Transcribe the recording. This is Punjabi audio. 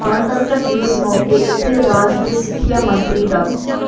ਗਣਤੰਤਰ ਦਿਵਸ ਮੌਕੇ ਇੱਥੇ ਰਾਜ ਦੇ ਸਿੱਖਿਆ ਮੰਤਰੀ ਡਾ